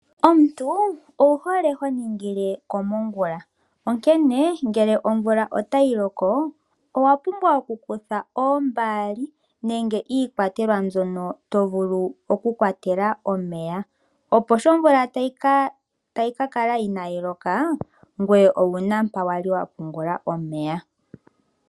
Omuntu owuhole ho ningile komongula, onkene ngele omvula otayi loko owapumbwa oku kutha oombaali nenge iikwatelwa mbyono tovulu okukwatela omeya, opo sho omvula tayi kakala inaayiloka ngoye owuna mpa wali wapungula omweya.